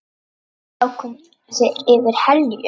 Þá koma þeir yfir Helju.